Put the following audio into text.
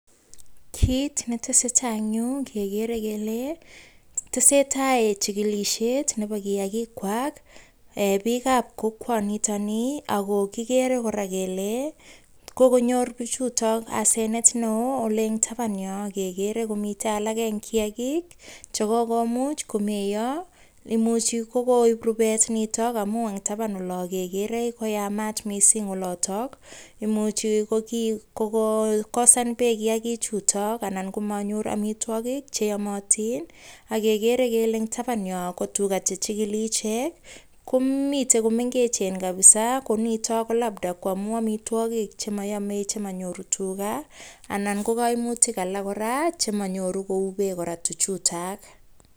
Kiit netese tai eng' yu kekere kele tese tai chikilishet nebo kiyakikwak biikab kokwanitoni ako kikere kora kele kokonyor pichutok asenet neo ole eng' taban yo kekere kometei alake eng' kiyakik chekokomuch komeiyo imuchi kokoib rubet nito amu eng' taban olo kekere koyamat mising' olotok imuchi kokokosan beek kiyakichuto anan komanyor omitwokik cheyomotin akekere kele eng' taban yo ko tuga chechikili ichek ko mite komengechen kabisa ko nito ko labda ko amu amitwokik chemayamei chemanyoru tuga anan ko kaimutik alak kora chemanyoru kou beek kora tuchutak